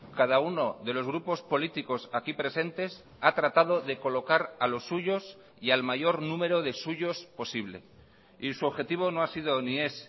cada uno de los grupos políticos aquí presentes ha tratado de colocar a los suyos y al mayor número de suyos posible y su objetivo no ha sido ni es